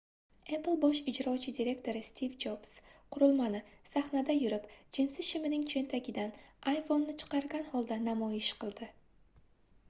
apple bosh ijrochi direktori stiv jobs qurilmani sahnada yurib jinsi shimining choʻntagidan iphoneʼni chiqargan holda namoyish qildi